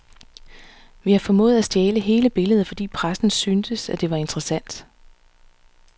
Vi har formået at stjæle hele billedet, fordi pressen syntes, at det var interessant.